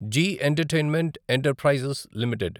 G entertainment enterprises limited